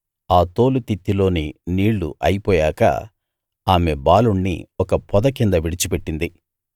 ఆ తోలు తిత్తిలోని నీళ్ళు అయిపోయాక ఆమె బాలుణ్ణి ఒక పొద కింద విడిచిపెట్టింది